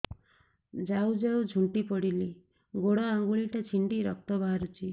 ଯାଉ ଯାଉ ଝୁଣ୍ଟି ପଡ଼ିଲି ଗୋଡ଼ ଆଂଗୁଳିଟା ଛିଣ୍ଡି ରକ୍ତ ବାହାରୁଚି